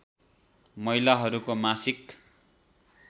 महिलाहरूको मासिक